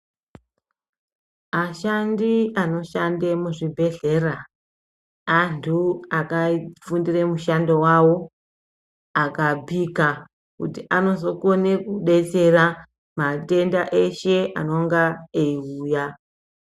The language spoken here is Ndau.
Ashandi anoshanda muzvibhedhlera antu akafundira mushando wavo aka pika kuti anozokona kudetsera matenda eshe anenge eiuya.